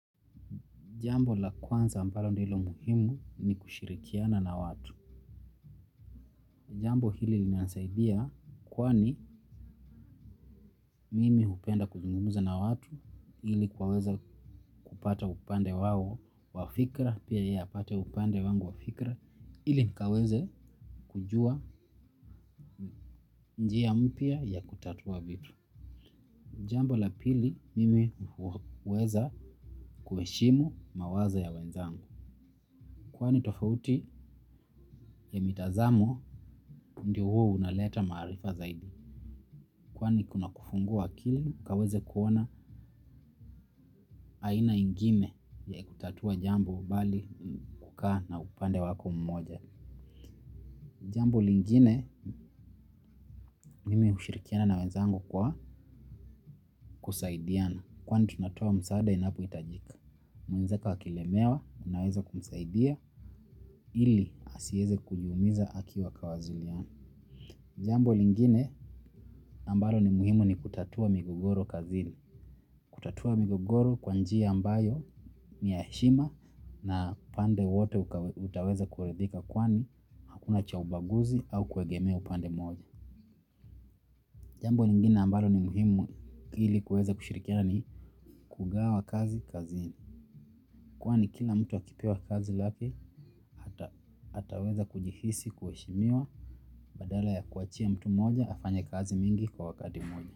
Jambo la kwanza ambalo ndilo muhimu ni kushirikiana na watu. Jambo hili zinanisaidia kwani mimi hupenda kuzungumza na watu ili kuweza kupata upande wao wa fikra pia yeye apate upande wangu wa fikra ili kaweze kujua njia mpya ya kutatua vitu. Jambo la pili, mimi huweza kuheshimu mawazo ya wenzangu kwani tofauti ya mitazamo ndio huwa unaleta maarifa zaidi. Kwani kuna kufungua akili ukaweze kuona aina ingine ya kutatua jambo bali kukaa na upande wako mmoja. Jambo lingine mimi ushirikiana na wezangu kwa kusaidiana. Kwani tunatoa msaada inapohitajika. Mwenzeko akilemewa unaweza kumsaidia ili asieze kujiumiza akiwa kawaziliana. Jambo lingine ambalo ni muhimu ni kutatua migogoro kazini. Kutatua migogoro kwa njia ambayo ni ya heshima na upande wote utaweza kuridhika kwani hakuna cha ubaguzi au kuegemea upande moja. Jambo lingine ambalo ni muhimu ili kuweza kushirikiana ni kugawa kazi kazi. Kwani kila mtu akipewa kazi lapi ataweza kujihisi kueshimiwa badala ya kuachia mtu moja afanye kazi mingi kwa wakati moja.